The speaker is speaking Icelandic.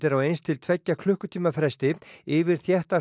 á eins til tveggja klukkutíma fresti yfir þétta